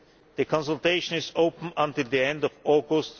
The consultation is open until the end of August